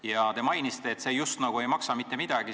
Ja te mainisite, et see justkui ei maksa mitte midagi.